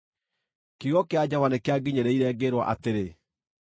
Kiugo kĩa Jehova nĩkĩanginyĩrĩire, ngĩĩrwo atĩrĩ,